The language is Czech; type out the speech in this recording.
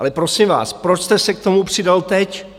Ale prosím vás, proč jste se k tomu přidal teď?